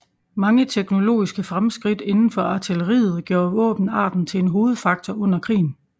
Mange teknologiske fremskridt inden for artilleriet gjorde våbenarten til en hovedfaktor under krigen